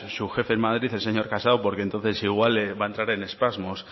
su jefe en madrid el señor casado porque entonces igual van a entrar en espasmos